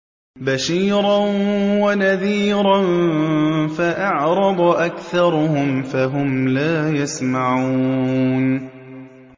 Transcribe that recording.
بَشِيرًا وَنَذِيرًا فَأَعْرَضَ أَكْثَرُهُمْ فَهُمْ لَا يَسْمَعُونَ